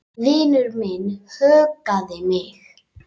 Vinur minn huggaði mig.